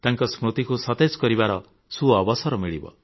ତାଙ୍କ ସ୍ମୃତିକୁ ସତେଜ କରିବାର ସୁଅବସର ମିଳିବ